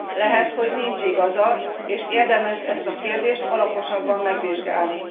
Lehet, hogy nincs igaza, és érdemes ezt a kérdést alaposabban megvizsgálni.